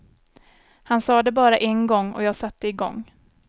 Han sade det bara en gång och jag satte igång.